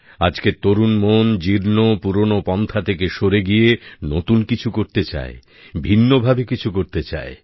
আজকের তরুণ মন জীর্ণ পুরনো পন্থা থেকে সরে গিয়ে নতুন কিছু করতে চায় ভিন্নভাবে কিছু করতে চায়